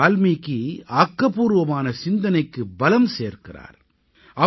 மஹரிஷி வால்மீகி ஆக்கப்பூர்வமான சிந்தனைக்குப் பலம் சேர்க்கிறார்